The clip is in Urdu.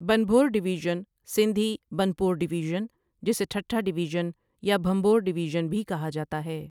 بنبھور ڈویژن سندھی بنڀور ڊويزن ، جسے ٹھٹہ ڈویژن یا بھمبور ڈویژن بھی کہا جاتا ہے۔